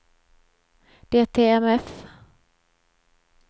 DTMF